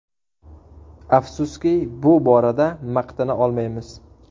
Afsuski, bu borada maqtana olmaymiz.